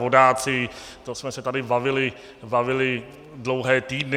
Vodáci - to jsme se tady bavili dlouhé týdny.